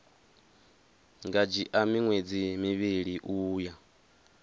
nga dzhia miṅwedzi mivhili uya